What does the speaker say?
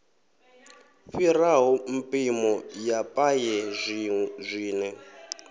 fhiraho mpimo ya paye zwine